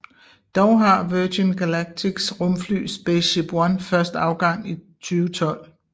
Dog har Virgin Galactics rumfly SpaceShipOne først afgang i 2012